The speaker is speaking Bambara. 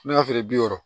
N'a feere bi wɔɔrɔ